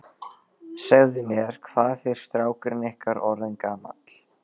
Segðu mér, hvað er strákurinn ykkar orðinn gamall?